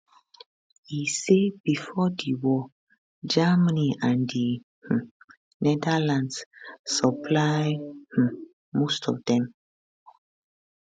e say bifor di war germany and di um netherlands supply um most of dem